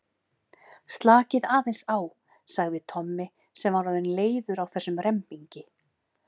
Slakið aðeins á sagði Tommi sem var orðinn leiður á þessum rembingi.